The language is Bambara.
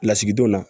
Lasigidenw na